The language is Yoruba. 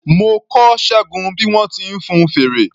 Mo kọ́ Ṣẹ́gun bí wọ́n ti ń fun fèrè.